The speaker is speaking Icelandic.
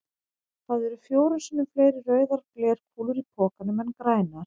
Það eru fjórum sinnum fleiri rauðar glerkúlur í pokanum en grænar.